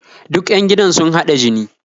Duk 'yan gidan sun haɗa jini